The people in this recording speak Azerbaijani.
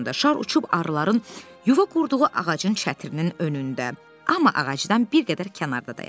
Şar uçub arıların yuva qurduğu ağacın çətirinin önündə, amma ağacdan bir qədər kənarda dayandı.